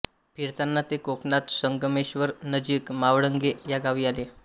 फिरताना ते कोकणात संगमेश्वर नजीक मावळंगे या गावी आले